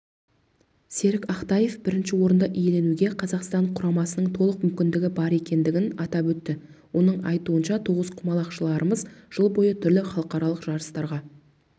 серік ақтаев бірінші орынды иеленуге қазақстан құрамасының толық мүмкіндігі бар екендігін атап өтті оның айтуынша тоғызқұмалақшыларымыз жыл бойы түрлі халықаралық жарыстарға